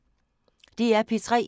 DR P3